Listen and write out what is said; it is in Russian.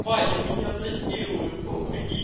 ваня меня насилуют помоги